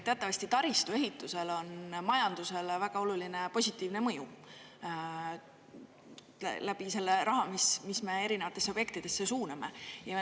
Teatavasti taristu ehitusel on majandusele väga oluline positiivne mõju läbi selle raha, mis me erinevatesse objektidesse suuname.